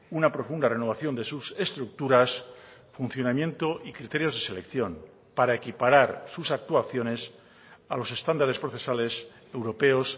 una profunda renovación de sus estructuras funcionamiento y criterios de selección para equiparar sus actuaciones a los estándares procesales europeos